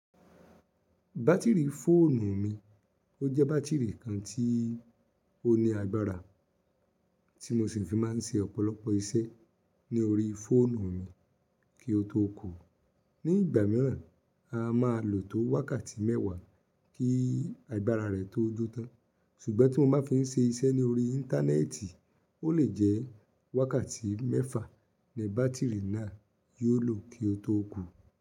Batiri fóònù mi, ó jẹ́ batiri kan tí ó ní agbára tí mo sì fi má n ṣe ọ̀pọ̀lọpọ̀ iṣẹ́ lórí fóònù mi kí ó tó kú. Ní ìgbà mìíràn, a máa lò tó wákàtí mẹ́wàá kí agbára rẹ̀ tó jó tán, ṣùgbọ́n tí mo bá fi n ṣe iṣẹ́ lórí íńtánẹ́ẹ̀tì, ó lè jẹ́ wákàtí mẹ́fà ni batiri náà yóò lò kí ó tó kú.